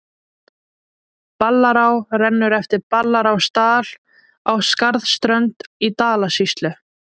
Ballará rennur eftir Ballarárdal á Skarðsströnd í Dalasýslu.